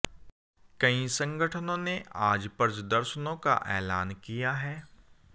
कई संगठनों ने आज प्रजदर्शनों का ऐलान किया है